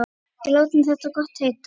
Við látum þetta gott heita.